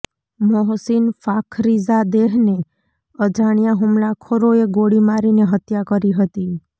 મોહસીન ફાખરીઝાદેહને અજાણ્યા હુમલાખોરોએ ગોળી મારીને હત્યા કરી હતી